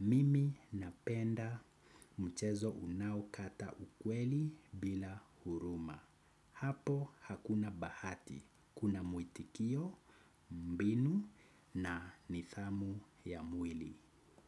Mimi napenda mchezo unaokata ukweli bila huruma. Hapo hakuna bahati, kuna muitikio, mbinu na nidhamu ya mwili.